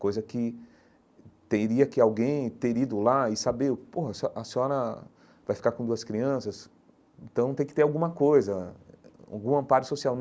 Coisa que teria que alguém ter ido lá e saber, pô, a a senhora vai ficar com duas crianças, então tem que ter alguma coisa, algum amparo social.